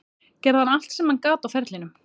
Gerði hann allt sem hann gat á ferlinum?